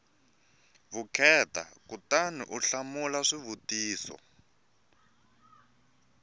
vukheta kutani u hlamula swivutiso